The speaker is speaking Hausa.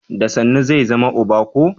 Da sannu zai zama uba ko?